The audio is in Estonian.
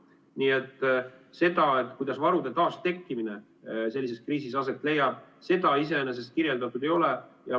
Nii et seda, kuidas varude taastekkimine sellises kriisis aset leiab, iseenesest kirjeldatud ei ole.